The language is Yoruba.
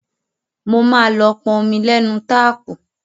Mo máa lọ pọn omi lénu táàpù.